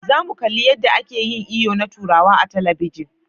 Za mu kalli yadda ake yin iyo na turawa a talabijin.